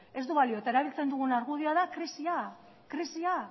eta erabiltzen dugun argudioa da krisia krisia